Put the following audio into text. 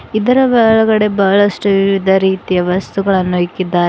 ಇದರ ಒಳಗಡೆ ಬಹಳಷ್ಟು ವಿವಿಧ ರೀತಿಯ ವಸ್ತುಗಳನ್ನು ಇಕ್ಕಿದಾರೆ.